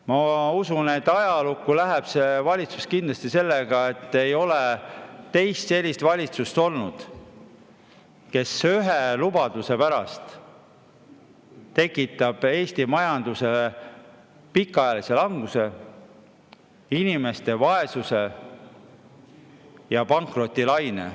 Ma usun, et ajalukku läheb see valitsus kindlasti sellega, et ei ole olnud teist sellist valitsust, kes ühe lubaduse pärast tekitab Eesti majanduses pikaajalise languse, inimeste vaesuse ja pankrotilaine.